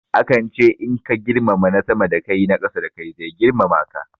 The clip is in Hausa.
Akan ce in ka girmama na sama da kai na ƙasa da kai zai girmama ka.